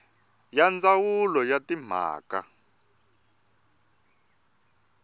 ya ndzawulo ya timhaka ta